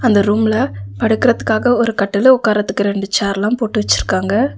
அந்த ரூம்ல படுக்கறதுக்காக ஒரு கட்டிலு உட்காரத்துக்காக ரெண்டு சேரெல்லா போட்டு வச்சிருக்காங்க.